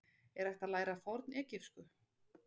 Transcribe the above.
Er hægt að læra fornegypsku?